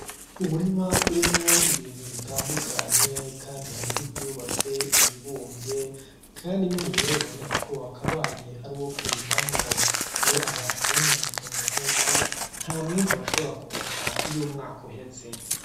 Umurima urimwo ibintu bitandukanye kandi harimwo ; ivyubatse , ibibumvye kandi ni umurima biboneka ko wakabaye ari uwo kurima mwo iyo abantu bononye itongo nkuku nta mwimbu bashobora kuronka iyo umwaka uheze.